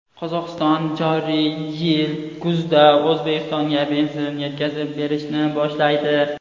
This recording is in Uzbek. Qozog‘iston joriy yil kuzda O‘zbekistonga benzin yetkazib berishni boshlaydi.